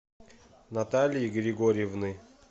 натальи григорьевны